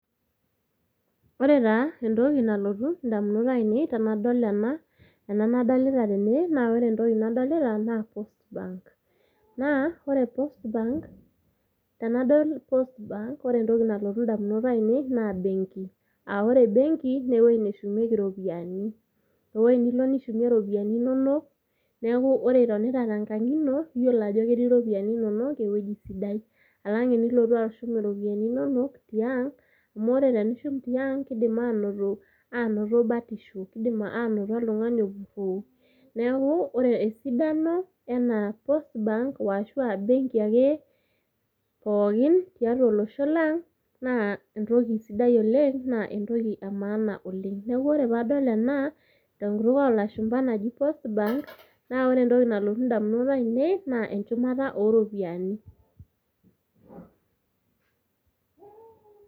Ore taa entoki nalotu indamunot ainei tenadol , ena nadolita tene , ore entoki nadolita naa post bank naa ore post bank naa tenadol postbank ore entoki nalotu indamunot ainei naa benki. Aa ore benki naa ewueji neshumieki iropiyiani. Ewuei nilo nishumie iropiyiani inonok ,niaku ore itonita tenkang ino iyiolo ajo ketii iropiyiani inonok ewueji sidai. Alang tenilotu ashumtiang, amu ore tenishumtiang kidim anoto , anoto batisho , kidimanoto oltungani opuroo . Niaku ore esidano ena post bank washuaa benki ake pookin tiatua olosho lang naa entoki sidai tiatua olosho lang naa entoki emaana oleng. Niaku ore paadol ena tenkutuk ena tenkutuk olashumba naji post bank naa ore entoki nalotu indamunot ainei naa enchumata ooropiyiani.